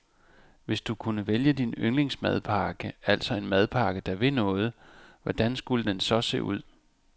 Hvis du kunne vælge din yndlingsmadpakke, altså en madpakke der vil noget, hvordan skulle den så se ud?